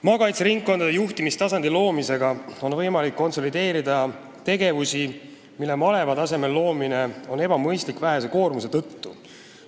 Maakaitseringkondade juhtimistasandi loomisega on võimalik konsolideerida ka tegevusi, mille maleva tasemel loomine on ebamõistlik vähese koormuse tõttu.